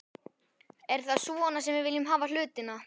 Er það svona sem við viljum hafa hlutina?